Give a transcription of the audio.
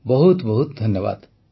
ବହୁତ ବହୁତ ଧନ୍ୟବାଦ